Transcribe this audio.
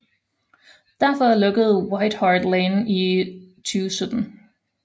Derfor lukkede White Hart Lane i 2017